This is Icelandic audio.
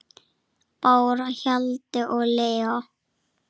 Bára, Hjalti og Leó.